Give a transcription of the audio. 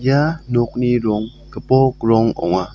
ia nokni rong gipok rong ong·a.